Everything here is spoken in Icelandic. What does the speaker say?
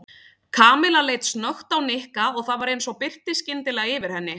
Kamilla leit snöggt á Nikka og það var eins og birti skyndilega yfir henni.